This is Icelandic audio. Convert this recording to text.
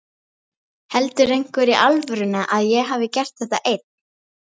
Heldur einhver í alvörunni að ég hafi gert þetta einn?